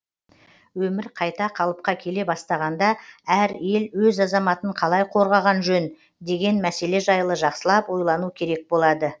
өмір қайта қалыпқа келе бастағанда әр ел өз азаматын қалай қорғаған жөн деген мәселе жайлы жақсылап ойлану керек болады